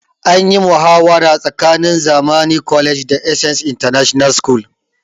Anyi muhawara tsakanin zamani college da essence international school